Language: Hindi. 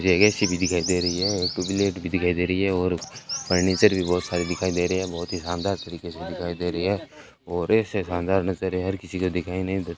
एक ए_सी भी दिखाई दे रही है एक ट्यूबलाइट भी दिखाई दे रही है और फर्नीचर भी बहुत सारे दिखाई दे रहे हैं बहुत ही शानदार तरीके से दिखाई दे रहे हैं और इससे शानदार नजरिया हर किसी को दिखाई नहीं दे --